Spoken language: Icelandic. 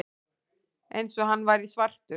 Eins og hann væri svartur.